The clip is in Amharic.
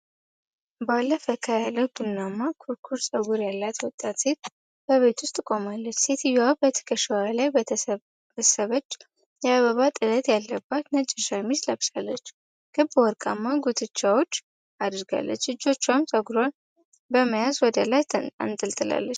ባለ ፈካ ያለ ቡናማ ኩርኩር ፀጉር ያላት ወጣት ሴት በቤት ውስጥ ቆማለች። ሴትየዋ በትከሻዋ ላይ በተሰበሰበች የአበባ ጥለት ያለበት ነጭ ሸሚዝ ለብሳለች፤ ክብ ወርቃማ ጉትቻዎች አድርጋለች። እጆቿን ፀጉሯን በመያዝ ወደ ላይ አነጣጥራለች።